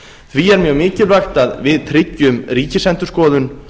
því er mjög mikilvægt að við tryggjum ríkisendurskoðun